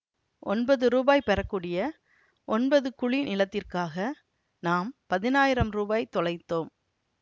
ஒன்பது ரூபாய் பெற கூடிய ஒன்பது குழி நிலத்திற்காக நாம் பதினாயிரம் ரூபாய் தொலைத்தோம்